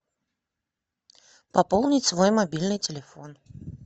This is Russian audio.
пополнить свой мобильный телефон